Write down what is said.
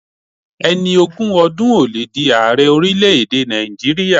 Ẹni ogún ọdún ò le di aarẹ orílẹ̀ èdè Nàìjíríà.